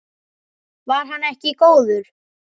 Var hann ekki góður?